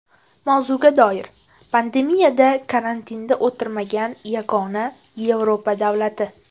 Mavzuga doir: Pandemiyada karantinda o‘tirmagan yagona Yevropa davlati.